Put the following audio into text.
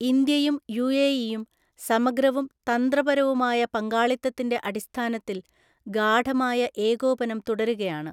ഇന്ത്യയും യുഎഇയും സമഗ്രവും തന്ത്രപരവുമായ പങ്കാളിത്തത്തിന്റെ അടിസ്ഥാനത്തിൽ ഗാഢമായ ഏകോപനം തുടരുകയാണ്.